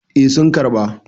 eh sun karɓa.